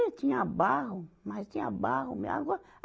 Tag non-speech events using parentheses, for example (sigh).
tinha bairro, mas tinha bairro. (unintelligible) agora